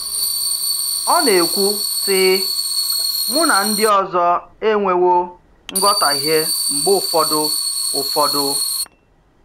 Ọ̀ na-ekwu, sị: “Mụ̀ na ndị ọzọ enwewo nghọtahie mgbe ụfọdụ.” ụfọdụ.”